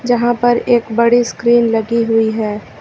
जहां पर एक बड़ी स्क्रीन लगी हुई है।